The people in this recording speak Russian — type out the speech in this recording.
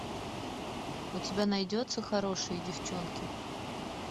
у тебя найдется хорошие девчонки